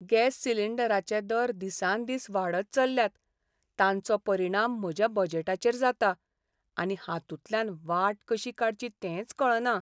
Gas सिलिंडराचे दर दिसान दीस वाडत चल्ल्यात. तांचो परिणाम म्हज्या बजेटाचेर जाता, आनी हांतूंतल्यान वाट कशी काडची तेंच कळना.